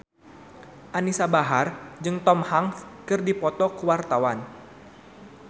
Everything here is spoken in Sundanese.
Anisa Bahar jeung Tom Hanks keur dipoto ku wartawan